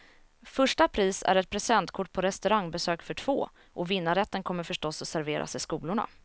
Första pris är ett presentkort på restaurangbesök för två, och vinnarrätten kommer förstås att serveras i skolorna.